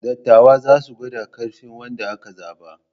Dattawa za su gwada ƙarfin wanda aka zaɓa.